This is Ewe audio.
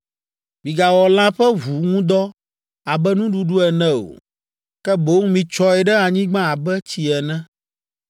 Migawɔ lã ƒe ʋu ŋu dɔ abe nuɖuɖu ene o, ke boŋ mitsyɔe ɖe anyigba abe tsi ene.